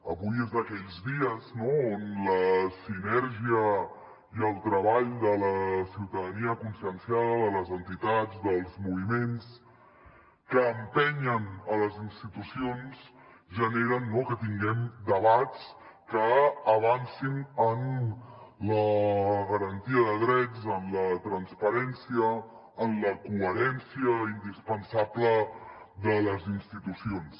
avui és d’aquells dies no on la sinergia i el treball de la ciutadania conscienciada de les entitats dels moviments que empenyen les institucions generen que tinguem debats que avancin en la garantia de drets en la transparència en la coherència indispensable de les institucions